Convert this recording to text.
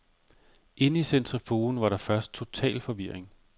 Inde i centrifugen var der først total forvirring.